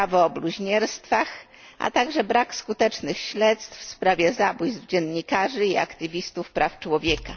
prawo o bluźnierstwach, a także brak skutecznych śledztw w sprawie zabójstw dziennikarzy i aktywistów praw człowieka.